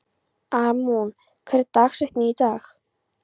Amon, hver er dagsetningin í dag?